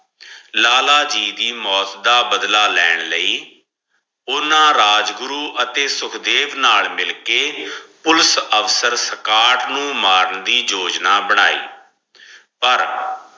ਲਾਲਾ ਦੀ ਮੋਤ ਦਾ ਬਦਲਾ ਲੈਣ ਲਈ ਉਹਨਾਂ ਰਾਜ ਗੁਰੂ ਅਤੀ ਸੁਖਦੇਵ ਨਾਲ ਮਿਲ ਕੇ ਪੁਲਿਸ ਅਫਸਰ ਸਕਾਟ ਨੂੰ ਮਾਰਨ ਦੀ ਯੋਜਨਾ ਬਣਾਈ ਅਹ ਪਰ